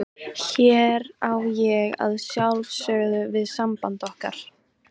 Hér á ég að sjálfsögðu við samband okkar.